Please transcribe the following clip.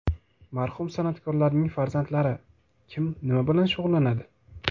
Marhum san’atkorlarning farzandlari: Kim nima bilan shug‘ullanadi?.